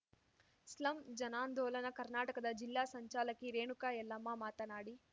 slum ಜನಾಂದೋಲನ ಕರ್ನಾಟಕದ ಜಿಲ್ಲಾ ಸಂಚಾಲಕಿ ರೇಣುಕಾ ಯಲ್ಲಮ್ಮ ಮಾತನಾಡಿ